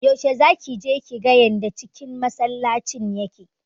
Yaushe zaki je kiga yanda cikin masallacin yake?